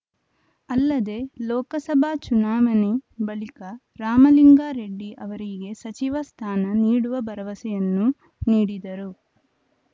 ಅಲ್ಲದೆ ಲೋಕಸಭಾ ಚುನಾವಣೆ ಬಳಿಕ ರಾಮಲಿಂಗಾರೆಡ್ಡಿ ಅವರಿಗೆ ಸಚಿವ ಸ್ಥಾನ ನೀಡುವ ಭರವಸೆಯನ್ನೂ ನೀಡಿದರು